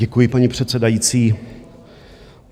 Děkuji, paní předsedající.